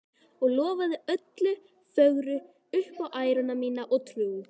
Og lofa öllu fögru upp á æru mína og trú.